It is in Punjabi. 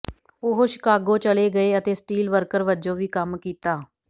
ਉਹ ਸ਼ਿਕਾਗੋ ਚਲੇ ਗਏ ਅਤੇ ਸਟੀਲ ਵਰਕਰ ਵਜੋਂ ਵੀ ਕੰਮ ਕੀਤਾ